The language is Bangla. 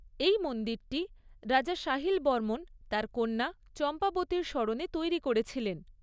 এই মন্দিরটি রাজা সাহিল বর্মণ তার কন্যা চম্পাবতীর স্মরণে তৈরি করেছিলেন।